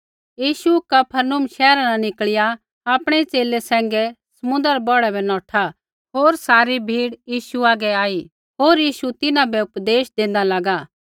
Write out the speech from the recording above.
यीशु Capernaum शैहरा न निकल़िया आपणै च़ेले सैंघै समुन्द्रा रै बौढ़ा बै नौठा होर सारी भीड़ यीशु हागै आई होर यीशु तिन्हां बै उपदेश देंदा लागा